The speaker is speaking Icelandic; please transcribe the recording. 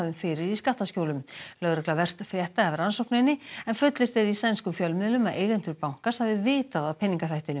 fyrir í skattaskjólum lögregla verst frétta af rannsókninni en fullyrt er í sænskum fjölmiðlum að eigendur bankans hafi vitað af peningaþvættinu